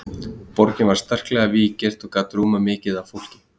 borgin var sterklega víggirt og gat rúmað mikið af fólki